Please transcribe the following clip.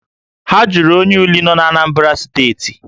Ha jụrụ onye Uli nọ n'Anambra steeti